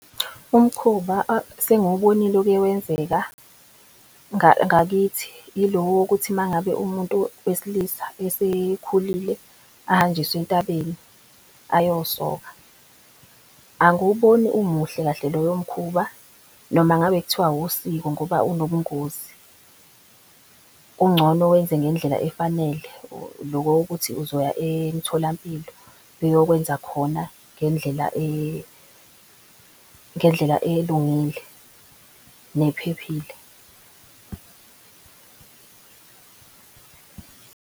Umkhuba sengiwubonile uke wenzeka, ngakithi, ilo wokuthi umangabe umuntu wesilisa esekhulile ahanjiswe entabeni, ayosoka. Angiwuboni umuhle kahle loyomkhuba noma ngabe kuthiwa wusiko ngoba unobungozi kungcono wenze ngendlela efanele lokokuthi uzoya emtholampilo eyokwenza khona ngendlela ngendlela elungile nephephile